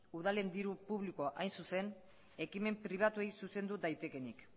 udalen diru publikoa hain zuzen ekimen pribatuei zuzendu daitekeenik